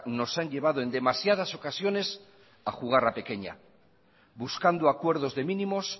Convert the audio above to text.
nos han llevado en demasiadas ocasiones a jugar a pequeña buscando acuerdos de mínimos